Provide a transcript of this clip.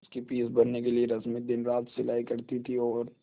उसकी फीस भरने के लिए रश्मि दिनरात सिलाई करती थी और